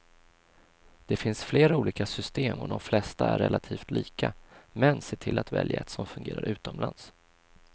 Det finns flera olika system och de flesta är relativt lika, men se till att välja ett som fungerar utomlands.